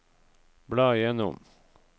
bla gjennom